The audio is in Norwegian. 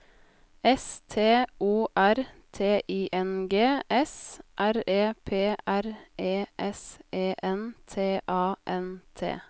S T O R T I N G S R E P R E S E N T A N T